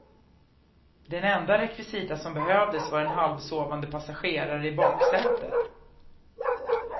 Den enda rekvisita som behövdes var en halvsovande passagerare i baksätet.